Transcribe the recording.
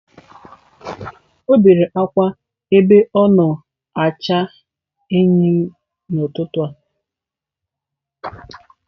O bere akwa ebe o na-acha eyịm n'ụtụtụ a.